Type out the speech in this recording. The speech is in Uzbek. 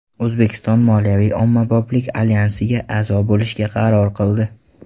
O‘zbekiston Moliyaviy ommaboplik alyansiga a’zo bo‘lishga qaror qildi.